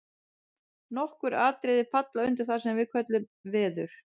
nokkur atriði falla undir það sem við köllum „veður“